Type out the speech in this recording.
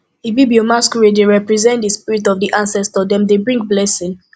ibibio masquerades dey represent di spirit of di ancestors dem dey bring blessings